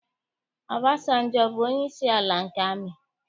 Ọbasanjọ, ọ bụ onyeisi ala nke amị?